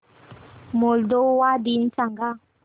Moldova दिन सांगा